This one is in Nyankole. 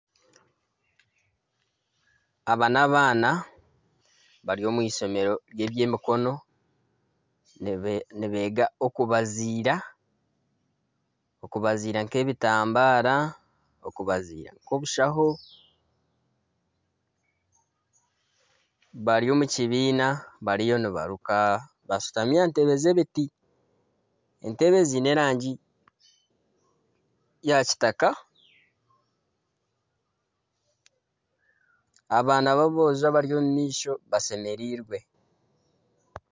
Aba n'abaana bari omu eishomero ry'ebyemikono nibeega okubaziira. Okubaziira nk'ebitambaara okubaziira nk'obushaho. Bari omu kibiina bariyo nibaruka bashutami aha ntebe z'ebiti. Entebe ziine erangi ya kitaka. Abaana b'aboojo abari omu maisho. bashemereirwe.